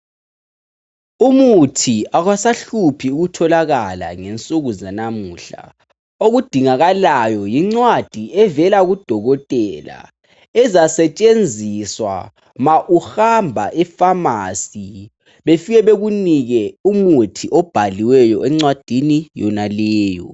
Umuthi akwasasahluphi ukutholakala ngensuku zanamuhla. Okudingakalayo yincwadi evela kudokotela. Ezasetshenziswa ma uhamba efamasi. Befike bekunike umuthi obhaliweyo encwadini yonaleyo.